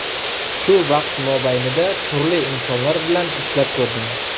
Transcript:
Shu vaqt mobaynida turli insonlar bilan ishlab ko‘rdim.